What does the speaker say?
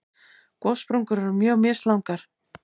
Gossprungur eru mjög mislangar.